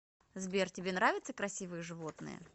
сбер тебе нравятся красивые животные